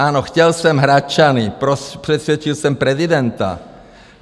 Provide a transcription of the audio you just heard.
Ano, chtěl jsem Hradčany, přesvědčil jsem prezidenta.